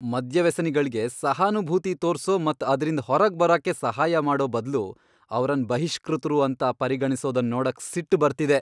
ಮದ್ಯವ್ಯಸನಿಗಳ್ಗೆ ಸಹಾನುಭೂತಿ ತೋರ್ಸೋ ಮತ್ ಅದ್ರಿಂದ ಹೊರಗ್ ಬರಾಕೆ ಸಹಾಯ ಮಾಡೋ ಬದ್ಲು ಅವರನ್ ಬಹಿಷ್ಕೃತರು ಅಂತ ಪರಿಗಣಿಸೊದನ್ ನೋಡಕ್ ಸಿಟ್ಟು ಬರ್ತಿದೆ.